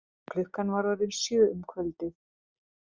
Klukkan var orðin sjö um kvöldið.